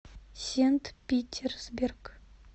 сент питерсберг